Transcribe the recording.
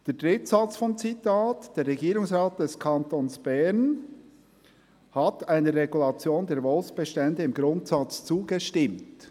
Der dritte Satz des Zitats lautet: «Der Regierungsrat des Kantons Bern hat einer Regulation der Wolfsbestände im Grundsatz zugestimmt.»